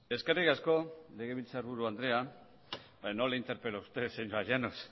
eskerrik asko legebiltzarburu andrea no le interpelo a usted señora llanos